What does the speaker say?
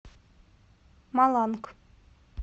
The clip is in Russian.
маланг